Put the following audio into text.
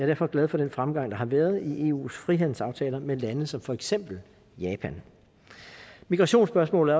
derfor glad for den fremgang der har været i eus frihandelsaftaler med lande som for eksempel japan migrationsspørgsmålet